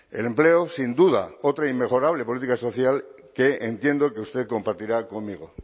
el empleo sin duda otra inmejorable política social que entiendo que usted compartirá conmigo